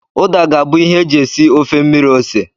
Uda ga-abụ ihe e ji esi ofe mmiri ose.